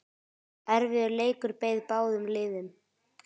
Erfiður leikur beið báðum liðum.